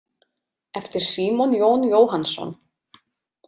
Eftir Símon Jón Jóhannsson.